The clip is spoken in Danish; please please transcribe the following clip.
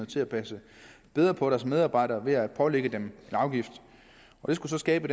til at passe bedre på deres medarbejdere ved at pålægge dem en afgift det skulle så skabe